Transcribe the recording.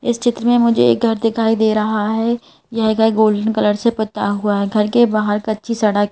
इस चित्र में मुझे एक घर दिखाई दे रहा है यह घर गोल्डन कलर से पता हुआ है घर के बाहर कच्ची सड़क--